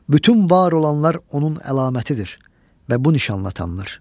Bütün var olanlar onun əlamətidir və bu nişanla tanınır.